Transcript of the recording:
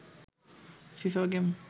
FIFA game